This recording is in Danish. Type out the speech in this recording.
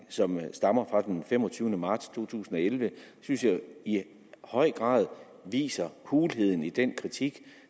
som stammer fra den femogtyvende marts to tusind og elleve synes jeg i høj grad viser hulheden i den kritik